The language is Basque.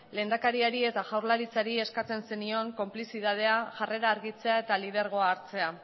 lehendakariari eta jaurlaritzari eskatzen zenion konplizidadea jarrera argitzea eta lidergoa hartzea